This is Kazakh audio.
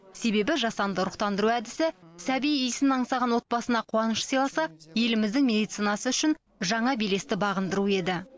себебі жасанды ұрықтандыру әдісі сәби иісін аңсаған отбасына қуаныш сыйласа еліміздің медицинасы үшін жаңа белесті бағындыру еді